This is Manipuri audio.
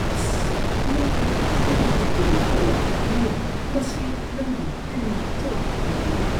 ꯑꯁ! ꯅꯪꯒꯤ ꯁꯝ ꯆꯤꯛꯄꯗꯣ ꯇꯣꯛꯑꯣ꯫ ꯌꯦꯡꯎ, ꯃꯁꯤ ꯅꯪꯒꯤ ꯇꯤꯟꯅ ꯆꯣꯠꯄ ꯐꯥꯎꯕ ꯑꯣꯏꯔꯦ꯫